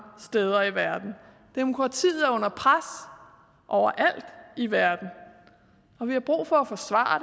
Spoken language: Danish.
steder i verden demokratiet er under pres over alt i verden og vi har brug for at forsvare